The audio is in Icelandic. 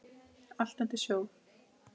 Allt undir snjó.